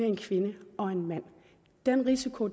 en kvinde og en mand den risiko